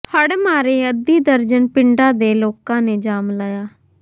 ਹੜ੍ਹ ਮਾਰੇ ਅੱਧੀ ਦਰਜਨ ਪਿੰਡਾਂ ਦੇ ਲੋਕਾਂ ਨੇ ਜਾਮ ਲਾਇਆ